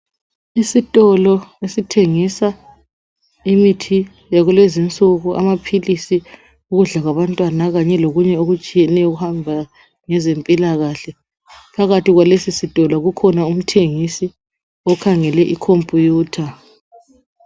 Isitolo esithengisa imithi yakulezinsuku, amaphilisi ukudla kwabantwana kanye lokunye okutshiyeneyo okuhamba ngezempilakahle. Phakathi kwalesisitolo kukhona umthengisi okhangele ikhompiyutha.